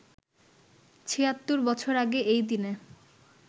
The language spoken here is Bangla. ৭৬ বছর আগে এই দিনে